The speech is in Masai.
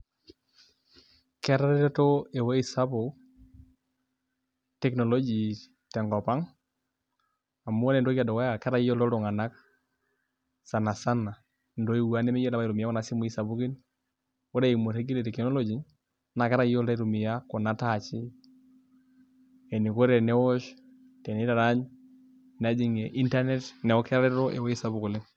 Ketareto ewueji sapuk teknoloji tenkop ang' amu ore entoki edukuya ketayioloito iltung'anak sani sana intoiwuo ang' nemeyiolo apa aitumia kuna simui sapukin ore eimu orregie le teknoloji naa ketayioloito aitumia kuna touchi eniko tenewosh tenitarany nejing'ie internet neeku ketareto ewuei sapuk oleng'.